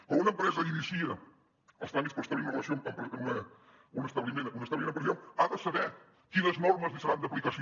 quan una empresa inicia els tràmits per establir un establiment empresarial ha de saber quines normes li seran d’aplicació